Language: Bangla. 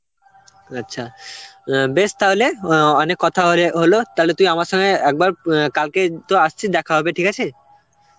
আচ্ছা, অ্যাঁ বেশ তাহলে অ্যাঁ অনেক কথা ওরে হলো, তাহলে তুই আমার সঙ্গে একবার অ্যাঁ কালকে তো আসছিস দেখা হবে, ঠিক আছে?